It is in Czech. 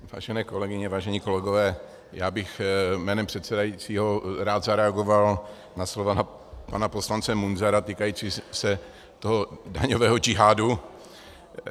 Vážené kolegyně, vážení kolegové, já bych jménem předsedajícího rád zareagoval na slova pana poslance Munzara týkající se toho daňového džihádu.